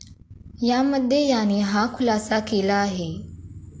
यामध्ये याने हा खुलासा केला आहे.